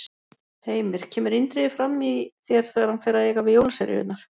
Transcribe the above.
Heimir: Kemur Indriði fram í þér þegar hann fer að eiga við jólaseríurnar?